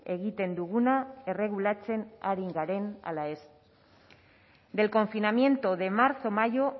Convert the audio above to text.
egiten duguna erregulatzen ari garen ala ez del confinamiento de marzo mayo